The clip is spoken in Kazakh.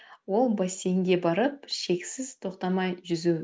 ол бассейнге барып шексіз тоқтамай жүзу